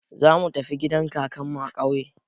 Zamu tafi gidan kakanmu a ƙauye.